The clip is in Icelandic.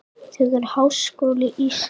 Þegar Háskóli Íslands